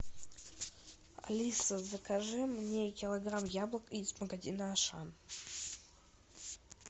алиса закажи мне килограмм яблок из магазина ашан